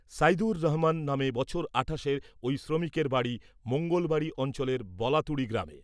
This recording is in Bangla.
সাইদুর রহমান নামে বছর আঠাশের ওই শ্রমিকের বাড়ি মঙ্গলবাড়ি অঞ্চলের বলাতুড়ি গ্রামে।